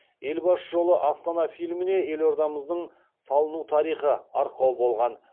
елбасы жолы астана фильміне елордамыздың салыну тарихы арқау болған